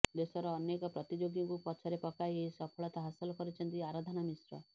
ଦେଶର ଅନେକ ପ୍ରତିଯୋଗୀଙ୍କୁ ପଛରେ ପକାଇ ଏହି ସଫଳତା ହାସଲ କରିଛନ୍ତି ଆରାଧନା ମିଶ୍ର